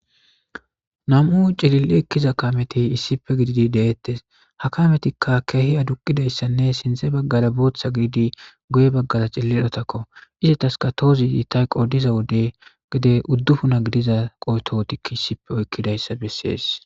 Nam'u cilil'i ekiza kaameti issippe gididi de'etes ha kaametika keehi adduqidayssane sinthe baggara bootha gididi guye baggara cilil'otakko izetaska tohozi ta hay qoodiza wode gede udufuna gidiza qoyto toho issipe oykidayssa besses.